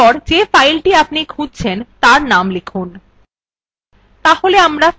এখানে যে filethe আপনি খুঁজছেন তার name লিখুন